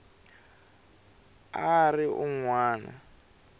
a a ri un wana